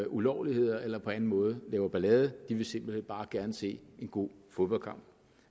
ulovligheder eller på anden måde laver ballade de vil simpelt hen bare gerne se en god fodboldkamp